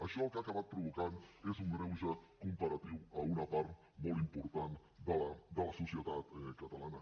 això el que ha acabat provocant és un greuge comparatiu en una part molt important de la societat catalana